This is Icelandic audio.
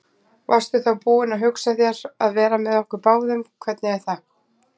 Varstu þá búin að hugsa þér að vera með okkur báðum, hvernig er það?